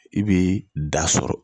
I bi da sɔrɔ